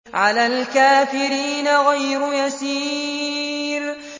عَلَى الْكَافِرِينَ غَيْرُ يَسِيرٍ